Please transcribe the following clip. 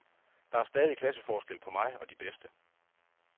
Der er stadig klasseforskel på mig og de bedste.